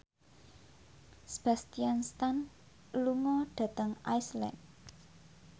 Sebastian Stan lunga dhateng Iceland